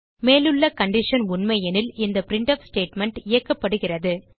மேலுள்ள கண்டிஷன் உண்மையெனில் இந்த பிரின்ட்ஃப் ஸ்டேட்மெண்ட் இயக்கப்படுகிறது